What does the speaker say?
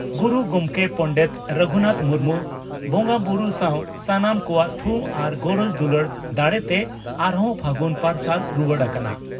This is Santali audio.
ᱜᱩᱨᱩ ᱜᱚᱢᱠᱮ ᱯᱚᱸᱱᱰᱮᱛ ᱨᱟᱹᱜᱷᱩᱱᱟᱛᱷ ᱢᱩᱨᱢᱩ ᱵᱚᱸᱜᱟᱵᱩᱨᱩ ᱥᱟᱣ ᱥᱟᱱᱟᱢ ᱠᱚᱣᱟᱜ ᱛᱷᱩᱢ ᱟᱨ ᱜᱚᱨᱚᱡᱽ ᱫᱩᱞᱟᱹᱲ ᱫᱟᱲᱮᱛᱮ ᱟᱨᱦᱚᱸ ᱯᱷᱟᱹᱜᱩᱱ ᱯᱟᱨᱥᱟᱞ ᱨᱩᱣᱟᱹᱲ ᱟᱠᱟᱱᱟ ᱾